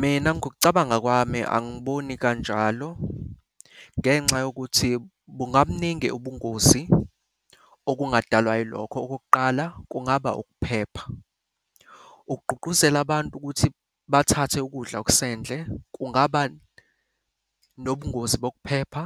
Mina ngokucabanga kwami angiboni kanjalo ngenxa yokuthi bungabuningi ubungozi. Okungadalwa yilokho, okokuqala kungaba ukuphepha. Ukugqugquzela abantu ukuthi bathathe ukudla okusendle kungaba nobungozi bokuphepha,